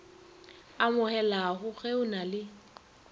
amogelago ge o na le